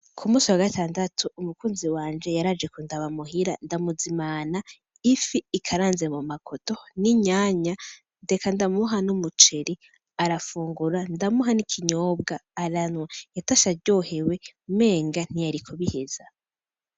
K'umusi wa gatandatu umukunzi wanje yaraje kundaba muhira, ndamuzimana ifi ikaranze mumakoto n'inyanya ndeka ndamuha n'umuceri arafungura, ndamuha n'ikinyobwa aranywa, yatashe aryohewe menga ntiyari kubiheza.